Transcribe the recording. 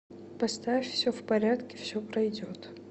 поставь все в порядке все пройдет